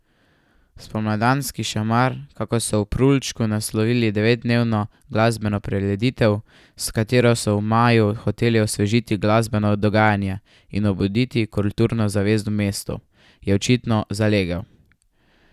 Spomladanski šamar, kakor so v Prulčku naslovili devetdnevno glasbeno prireditev, s katero so v maju hoteli osvežiti glasbeno dogajanje in obuditi kulturno zavest v mestu, je očitno zalegel.